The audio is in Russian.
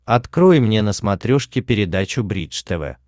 открой мне на смотрешке передачу бридж тв